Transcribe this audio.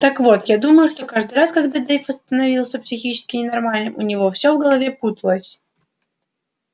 так вот я думаю что каждый раз когда дейв становился психически ненормальным у него все в голове путалось